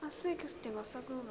asikho isidingo sokuba